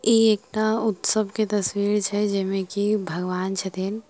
एकटा उत्सव के तस्वीर छै जे में की भगवान छथिन।